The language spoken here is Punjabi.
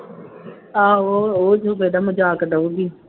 ਆਹੋ ਉਹ ਜ਼ਰੂਰ ਇਹਦਾ ਮਜ਼ਾਕ ਉਡਾਊਗੀ